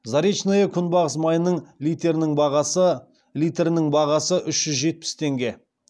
заречное күнбағыс майының литрінің бағасы үш жүз жетпіс теңге